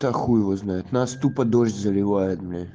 да хуй его знает нас тупо дождь заливает